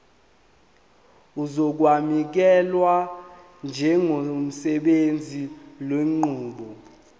uzokwamukelwa njengosebenzisa lenqubo